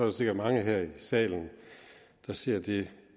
der sikkert mange her i salen der ser et